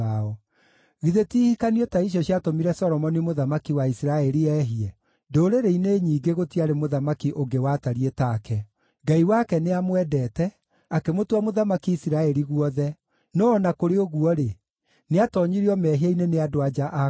Githĩ ti ihikanio ta icio ciatũmire Solomoni mũthamaki wa Isiraeli eehie? Ndũrĩrĩ-inĩ nyingĩ gũtiarĩ mũthamaki ũngĩ watariĩ take. Ngai wake nĩamwendete, akĩmũtua mũthamaki Isiraeli guothe; no-o na kũrĩ ũguo-rĩ, nĩatoonyirio mehia-inĩ nĩ andũ-a-nja a kũngĩ.